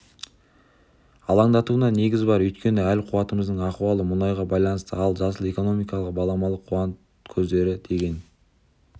алаңдатуына негіз бар өйткені әл-қуатымыздың ахуалы мұнайға байланысты ал жасыл экономика баламалы қуат көздері деген